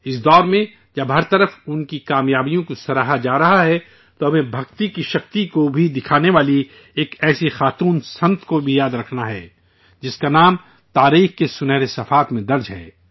اس دور میں، جب ہر طرف ان کی حصولیابیوں کو سراہا جا رہا ہے، تو ہمیں بھکتی کی شکتی کو دکھانے والی ایک ایسی خاتون سنت سادھو کو بھی یاد رکھنا ہے، جس کا نام تاریخ کے سنہرے صفحات میں درج ہے